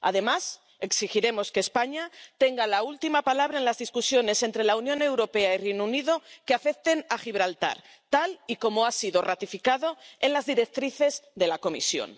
Además, exigiremos que España tenga la última palabra en los debates entre la Unión Europea y el Reino Unido que afecten a Gibraltar, tal y como ha sido ratificado en las directrices de la Comisión.